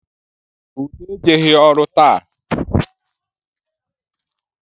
Ude ejeghi ọrụ taa